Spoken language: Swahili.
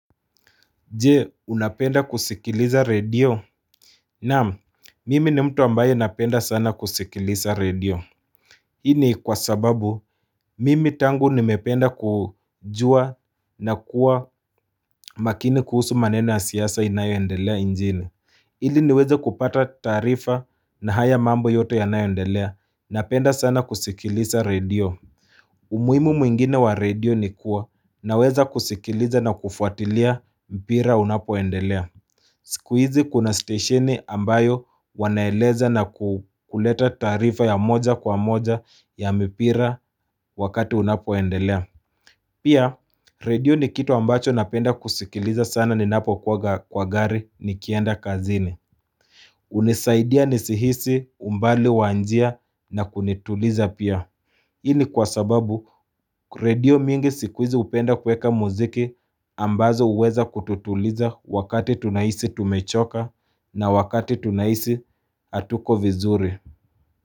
Jee unapenda kusikiliza radio Naam mimi ni mtu ambayo napenda sana kusikiliza radio. Hini kwa sababu mimi tangu nimependa kujua na kuwa makini kuhusu maneni wa siyasa inayoendelea njini. Hili niweze kupata tarifa na haya mambo yoto ya nayendelea napenda sana kusikiliza radio. Umuimu mwingine wa radio ni kuwa na weza kusikiliza na kufuatilia mpira unapoendelea. Sikuizi kuna station ambayo wanaeleza na kuleta tarifa ya moja kwa moja ya mipira wakati unapoendelea. Pia radio ni kitu ambacho napenda kusikiliza sana ni napo kwa gari ni kienda kazini. Unisaidia nisihisi umbali wanjia na kunituliza pia. Ini kwa sababu kredio mingi sikuizi upenda kweka muziki ambazo uweza kututuliza wakati tunaisi tumechoka. Na wakati tunaisi hatuko vizuri.